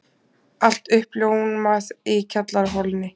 Allt uppljómað í kjallaraholunni.